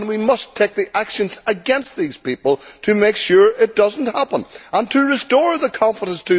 We must take action against these people to make sure that it does not happen and to restore consumer confidence.